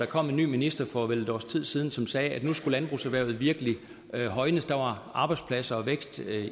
kom en ny minister for vel et års tid siden som sagde at nu skulle landbrugserhvervet virkelige højnes der var arbejdspladser og vækst